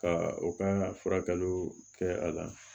Ka o kan ka furakɛliw kɛ a la